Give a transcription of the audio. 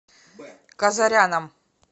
казаряном